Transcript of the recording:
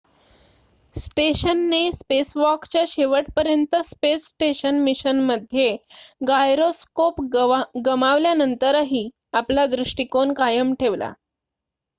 स्टेशनने स्पेसवॉकच्या शेवटपर्यंत space station मिशनमध्ये गायरोस्कोप गमावल्यानंतरही आपला दृष्टिकोन कायम ठेवला